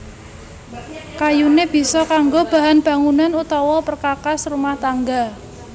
Kayuné bisa kanggo bahan bangunan utawa perkakas rumah tangga